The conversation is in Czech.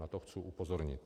Na to chci upozornit.